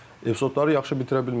Epizodları yaxşı bitirə bilmirlər.